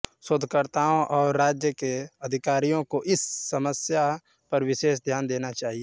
शोधकर्ताओं और राज्य के अधिकारियों को इस समस्या पर विशेष ध्यान देना चाहिए